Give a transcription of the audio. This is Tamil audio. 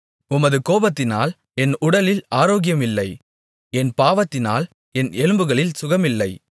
உமது கோபத்தினால் என் உடலில் ஆரோக்கியமில்லை என் பாவத்தினால் என் எலும்புகளில் சுகமில்லை